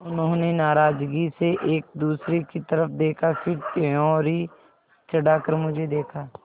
उन्होंने नाराज़गी से एक दूसरे की तरफ़ देखा फिर त्योरी चढ़ाकर मुझे देखा